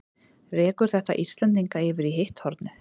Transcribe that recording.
Rekur þetta Íslendinga yfir í hitt hornið?